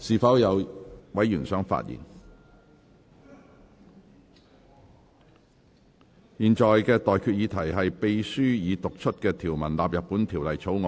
我現在向各位提出的待決議題是：秘書已讀出的條文納入本條例草案。